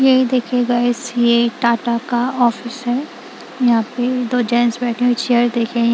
ये देखिए गाइस ये टाटा का ऑफिस है यहां पे दो ज चेयर देखिए --